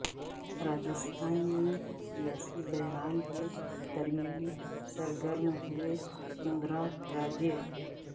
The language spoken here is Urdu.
راجستھان میں سیاسی بحران کے درمیان سرگرم ہوئیں وسندھرا راجے